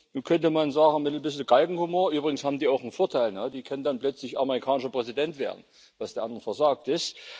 Nun könnte man sagen mit etwas Galgenhumor Übrigens haben die auch einen Vorteil, die können dann plötzlich amerikanischer Präsident werden, was den anderen versagt ist.